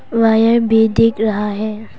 Wire भी दिख रहा है।